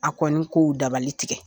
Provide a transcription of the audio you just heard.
A kɔni k'o dabali tigɛ.